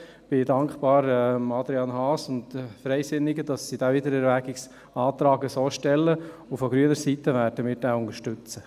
Ich bin Adrian Haas und den Freisinnigen dankbar, dass sie diesen Wiedererwägungsantrag so stellen, und von grüner Seite werden wir diesen so unterstützen.